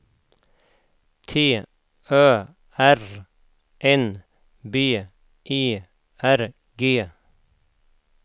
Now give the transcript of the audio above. T Ö R N B E R G